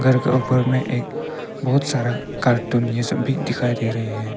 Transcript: घर के ऊपर में एक बहुत सारा कार्टून ये सब भी दिखाई दे रहे हैं।